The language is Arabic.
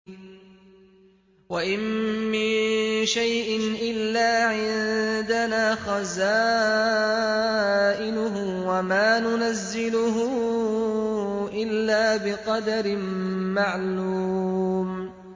وَإِن مِّن شَيْءٍ إِلَّا عِندَنَا خَزَائِنُهُ وَمَا نُنَزِّلُهُ إِلَّا بِقَدَرٍ مَّعْلُومٍ